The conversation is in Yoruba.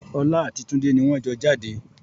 Ọlá àti tunde ni wọn jọ jáde